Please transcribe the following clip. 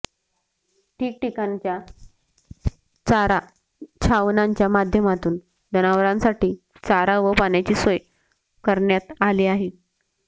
ठिकठिकाणी चारा छावण्यांच्या माध्यमातून जनावरांसाठी चारा व पाण्याची सोय करण्यात आली आहे